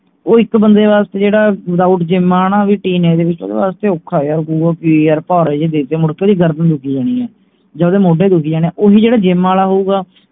ਉਹ ਇਕ ਬੰਦੇ ਵਾਸਤੇ ਜਿਹੜਾ without gym ਆ ਵੀ teenage ਉਹ ਵਾਸਤੇ ਔਖਾ ਵੀ ਯਾਰ ਕਿ ਪਹਾੜੇ ਜੇ ਦੇ ਤੇ ਮੁੜਕੇ ਗਰਮੀ ਲੱਗੀ ਜਾਣੀ ਹੈ ਜਾ ਓਹਦੇ ਮੋਢੇ ਦੁਖੀ ਜਾਣੇ ਓਹੀ ਜਿਹੜਾ gym ਆਲਾ ਹੋਊਗਾ